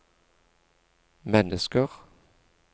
mennesker